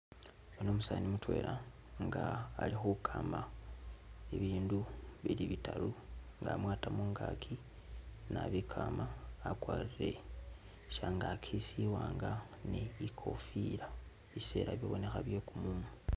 Yuno umusani mutwela nga alikhukama ibindu bili bitaru nga amwata mungakyi nabikama akwarire shyangaki shiwanga ni ikofila bisela bibonekha byekumumu